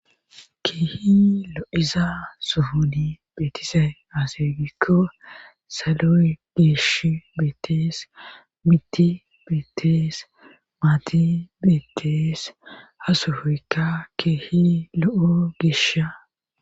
Kehi eza sufudi betisay azergiko saluy deshi betes miti betes mati betes hasofika kehi lo'o gesha.